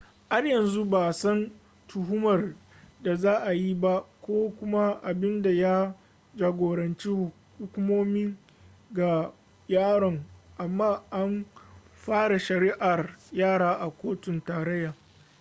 har yanzu ba a san a tuhumar da za a yi ba ko kuma abin da ya jagoranci hukumomi ga yaron amma an fara shari'ar yara a kotun tarayya